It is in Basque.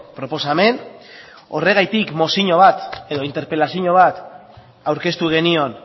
proposamen horregatik mozio bat edo interpelazio bat aurkeztu genion